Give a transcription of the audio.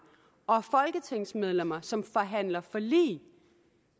og folketingsmedlemmer som forhandler forlig